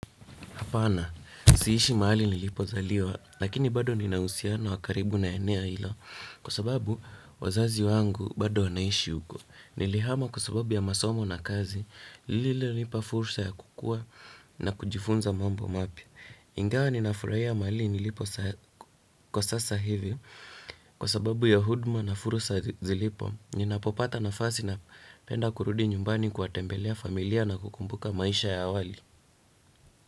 Hapana, siishi mahali nilipozaliwa, lakini bado nina uhusiano wa karibu na eneo ilo, kwa sababu wazazi wangu bado wanaishi huko. Nilihama kwa sababu ya masomo na kazi lililonipa fursa ya kukua na kujifunza mambo mapya. Ingawa ninafurahia mahali nilipo kwa sasa hivi, kwa sababu ya huduma na fursa zilipo, ninapopata nafasi napenda kurudi nyumbani kuwatembelea familia na kukumbuka maisha ya awali.